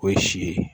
O ye si ye